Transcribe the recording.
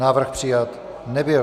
Návrh přijat nebyl.